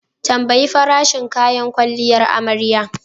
Tambayi farashin kayan kwalliyar amarya.